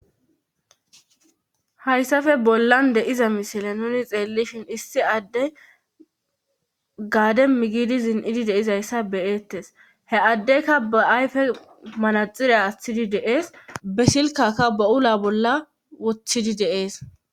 hayssappe bollan de'iza misile nuni xeellishin issi adde gaademi giidi zin'idi de'izayssa be'eettes he addeyka ba ayfe manaxire aaththidi de'ees be silkakka ba'ula bolla woththidi de'ees